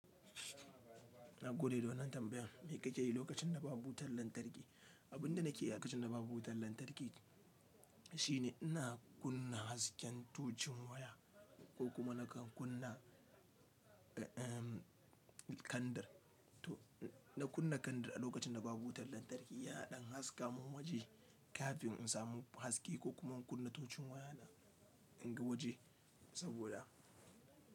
Na gode don wannan tambayan. Me kake yi lokacin da babu wutar lantarki? Abin da nake yi a lokacin da babu wutar lantarki shine ina kunna hasken tocun waya ko kuma nakan kunna, ee, kandir. To, na kunna kandar a lokacin da babu wutar lantarki yana dan haska mun waje kafin in samu haske ko kuma in kunna tocun waya in ga waje saboda.